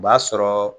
O b'a sɔrɔ